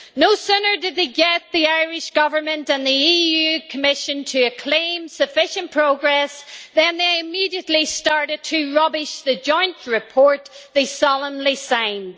No sooner did they get the Irish Government and the Commission to acclaim sufficient progress, than they immediately started to rubbish the joint report they solemnly signed.